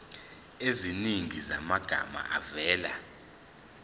eziningi zamagama avela